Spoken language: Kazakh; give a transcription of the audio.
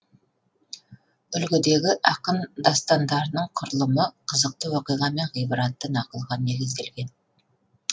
үлгідегі ақын дастандарының құрылымы қызықты оқиға мен ғибратты нақылға негізделген